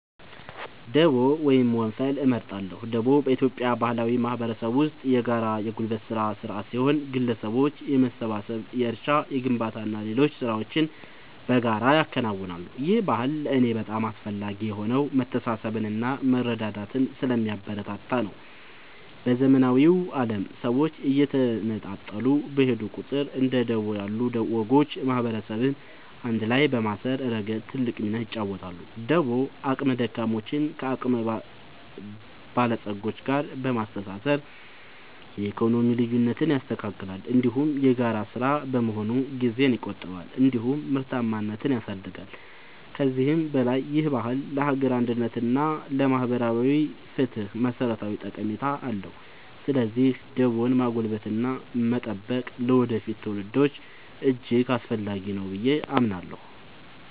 ደቦ ወይም ወንፈል እመርጣለሁ። ደቦ በኢትዮጵያ ባህላዊ ማህበረሰብ ውስጥ የጋራ የጉልበት ሥራ ሥርዓት ሲሆን፣ ግለሰቦች በመሰባሰብ የእርሻ፣ የግንባታና ሌሎች ሥራዎችን በጋራ ያከናውናሉ። ይህ ባህል ለእኔ በጣም አስፈላጊ የሆነው መተሳሰብንና መረዳዳትን ስለሚያበረታታ ነው። በዘመናዊው ዓለም ሰዎች እየተነጣጠሉ በሄዱ ቁጥር፣ እንደ ደቦ ያሉ ወጎች ማህበረሰብን አንድ ላይ በማሰር ረገድ ትልቅ ሚና ይጫወታሉ። ደቦ አቅመ ደካሞችን ከአቅመ በለጾች ጋር በማስተባበር የኢኮኖሚ ልዩነትን ያስተካክላል፤ እንዲሁም የጋራ ሥራ በመሆኑ ጊዜን ይቆጥባል እንዲሁም ምርታማነትን ያሳድጋል። ከዚህም በላይ ይህ ባህል ለሀገር አንድነት እና ለማህበራዊ ፍትህ መሠረታዊ ጠቀሜታ አለው። ስለዚህ ደቦን ማጎልበትና መጠበቅ ለወደፊት ትውልዶች እጅግ አስፈላጊ ነው ብዬ አምናለሁ።